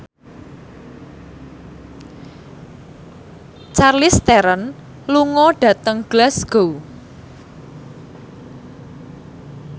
Charlize Theron lunga dhateng Glasgow